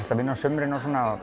vinna á sumrin og